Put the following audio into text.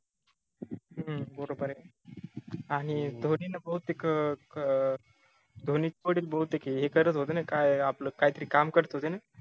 हम्म बरोबर ए आनि धोनीनं बहुतेक अं अं धोनी बहुतेक हे करत होते न काय आपल काय तरी काम करत होते न